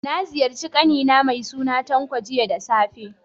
Na ziyarci ƙani na mai suna Tanko, jiya da safe.